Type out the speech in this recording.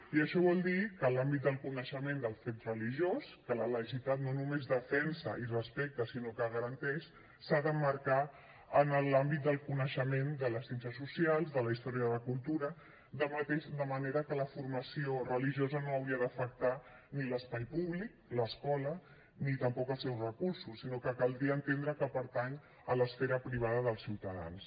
i això vol dir que l’àmbit del coneixement del fet religiós que la laïcitat no només defensa i respecta sinó que garanteix s’ha d’emmarcar en l’àmbit del coneixement de les ciències socials de la història de la cultura de manera que la formació religiosa no hauria d’afectar ni l’espai públic l’escola ni tampoc els seus recursos sinó que caldria entendre que pertany a l’esfera privada dels ciutadans